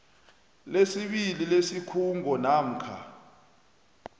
lesibili lesikhungo namkha